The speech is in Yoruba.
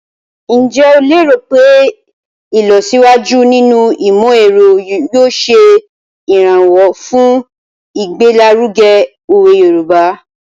Njẹ́ o léèrò pé ìlọsíwájú nínú ìmọ̀-ẹ̀ro yóò ṣe ìrànwọ́ fun igbelaruge owe Yoruba?